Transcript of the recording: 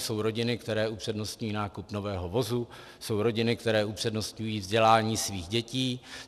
Jsou rodiny, které upřednostní nákup nového vozu, jsou rodiny, které upřednostňují vzdělání svých dětí.